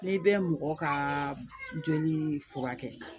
N'i bɛ mɔgɔ kaa jɔni furakɛ